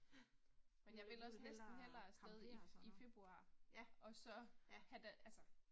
Men jeg vil også næsten hellere afsted i i februar og så have da altså